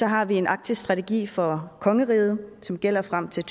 har vi en arktisk strategi for kongeriget som gælder frem til